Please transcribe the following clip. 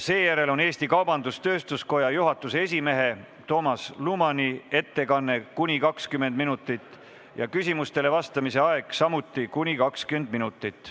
Seejärel on Eesti Kaubandus-Tööstuskoja juhatuse esimehe Toomas Lumani ettekanne , küsimustele vastamise aeg on samuti kuni 20 minutit.